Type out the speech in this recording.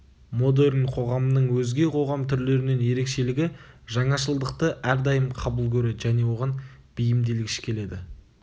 модерн қоғамының өзге қоғам түрлерінен ерекшелігі жаңашылдықты әрдайым қабыл көреді және оған бейімделгіш келеді